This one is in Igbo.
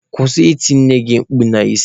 Kwụsị iti nne gị mkpu n'isi!.